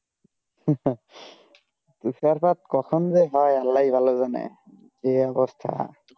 তুষারপাত কখন যে হয়ে আল্লাহ ই ভালো জানে এই অবস্থা